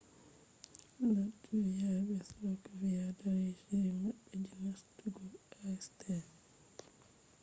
latviya be slovakiya darni shiri maɓɓe je nastugo acta